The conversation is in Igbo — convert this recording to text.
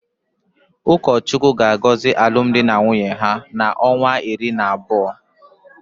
Ukachukwu ga-agozi alum di na nwunye ha na onwa uri na Otu.